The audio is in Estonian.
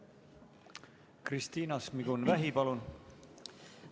Kristina Šmigun-Vähi, palun!